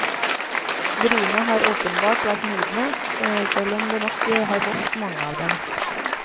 Druene har åpenbart vært modne, selv om det nok har vokst mange av dem.